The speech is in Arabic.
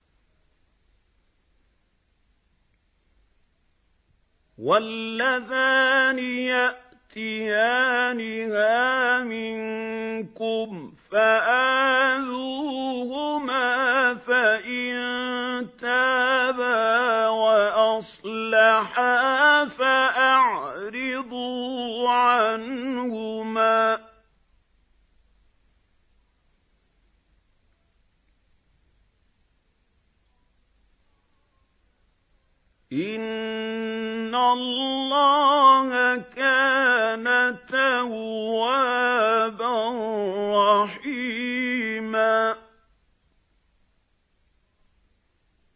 وَاللَّذَانِ يَأْتِيَانِهَا مِنكُمْ فَآذُوهُمَا ۖ فَإِن تَابَا وَأَصْلَحَا فَأَعْرِضُوا عَنْهُمَا ۗ إِنَّ اللَّهَ كَانَ تَوَّابًا رَّحِيمًا